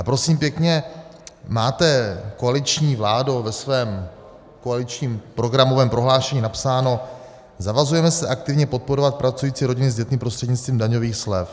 A prosím pěkně, máte, koaliční vládo, ve svém koaličním programovém prohlášení napsáno: "Zavazujeme se aktivně podporovat pracující rodiny s dětmi prostřednictvím daňových slev."